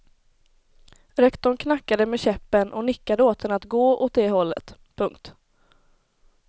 Rektorn knackade med käppen och nickade åt henne att gå åt det hållet. punkt